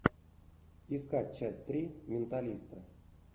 искать часть три менталиста